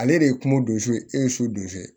Ale de ye mo don so e ye so don so